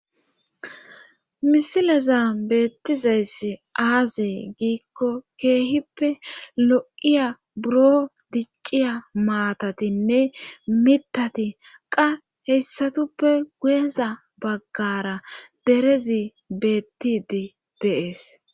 Misilezaninetizaysi azee gikon Keehippe lo'iya buro diciya matatinne mithati qa hesatupe guyeza bagara derezi beetide de'es